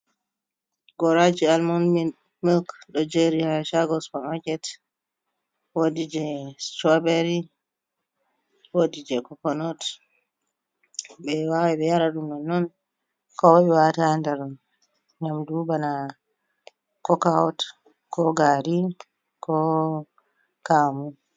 Goraji almun milk ɗo jeri ha Supa maket, wodi strowbery wodi je cokanaut ɓe wawai ɓe yara doman nonnon ko wawai be wata ha nder nyamdu bana cokout ko gari ko kamu.